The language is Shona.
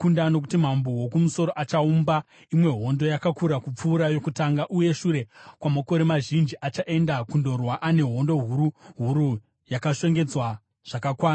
Nokuti mambo woKumusoro achaumba imwe hondo, yakakura kupfuura yokutanga; uye shure kwamakore mazhinji, achaenda kundorwa ane hondo huru huru yakashongedzwa zvakakwana.